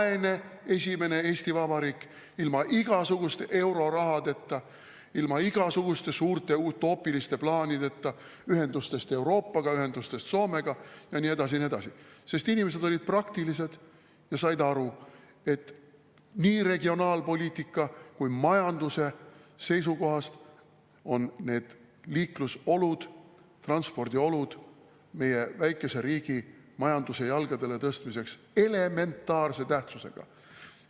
Vaene esimene Eesti Vabariik ilma igasuguste eurorahadeta, ilma igasuguste suurte utoopiliste plaanideta ühendustest Euroopaga, ühendustest Soomega ja nii edasi, sest inimesed olid praktilised ja said aru, et nii regionaalpoliitika kui ka majanduse seisukohast on liiklusolud, transpordiolud meie väikese riigi majanduse jalgadele tõstmiseks elementaarse tähtsusega.